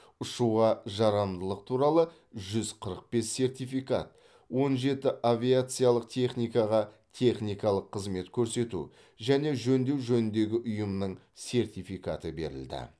ұшуға жарамдылық туралы жүз қырық бес сертификат он жеті авиациялық техникаға техникалық қызмет көресету және жөндеу жөніндегі ұйымның сертификаты берілді